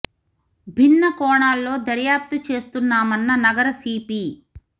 భిన్న కోణాల్లో దర్యాప్తు చేస్తున్నామన్న నగర సీపీ